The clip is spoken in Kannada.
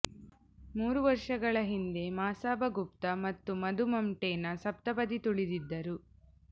ಮೂರು ವರ್ಷಗಳ ಹಿಂದೆ ಮಸಾಬಾ ಗುಪ್ತಾ ಮತ್ತು ಮಧು ಮಂಟೇನಾ ಸಪ್ತಪದಿ ತುಳಿದಿದ್ದರು